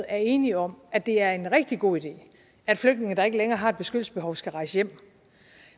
er enige om at det er en rigtig god idé at flygtninge der ikke længere har et beskyttelsesbehov skal rejse hjem